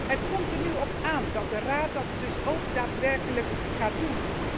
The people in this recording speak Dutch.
Het komt er nu op aan dat de Raad dat dus ook daadwerkelijk gaat doen.